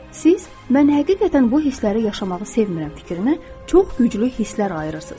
Siz mən həqiqətən bu hissləri yaşamağı sevmirəm fikrinə çox güclü hisslər ayırırsınız.